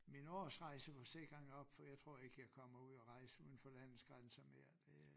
Min årsrejseforsikring op for jeg tror ikke jeg kommer ud at rejse uden for landets grænser mere det er